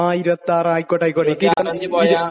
ങാ..26, 26 ആയിക്കോട്ടെ..ആയിക്കോട്ടെ..ഇരു...